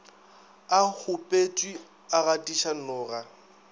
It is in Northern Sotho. a kgopetšwe a gatiša noga